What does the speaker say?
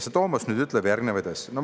Tomos ütleb järgnevaid asju.